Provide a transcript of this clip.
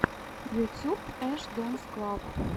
ютюб эш дэнс клаб